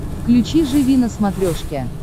включи живи на смотрешке